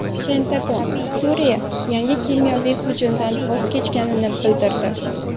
Pentagon Suriya yangi kimyoviy hujumdan voz kechganini bildirdi.